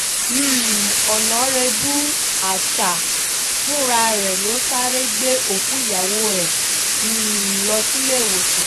um ọ̀nàrẹ́bù acha fúra rẹ̀ ló sáré gbé òkú ìyàwó ẹ̀ um lọ síléèwòsàn